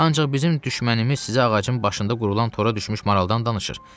Ancaq bizim düşmənimiz sizə ağacın başında qurulan tora düşmüş maraldan danışır.